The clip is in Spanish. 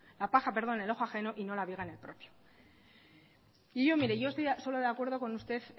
la paja en el ojo ajeno y no la viga en el propio y yo mire yo estoy solo de acuerdo en usted